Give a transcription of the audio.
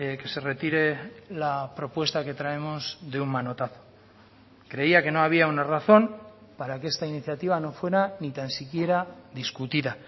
que se retire la propuesta que traemos de un manotazo creía que no había una razón para que esta iniciativa no fuera ni tan siquiera discutida